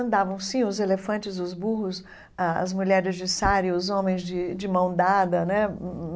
Andavam, sim, os elefantes, os burros, as mulheres de sari, os homens de de mão dada né hum hum.